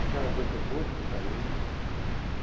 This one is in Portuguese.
Aquelas outra boa de saúde.